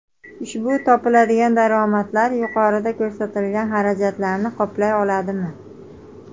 Ushbu topiladigan daromadlar yuqorida ko‘rsatilgan xarajatlarni qoplay oladimi?